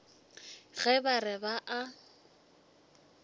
ge ba re ba a